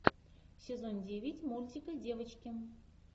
сезон девять мультика девочки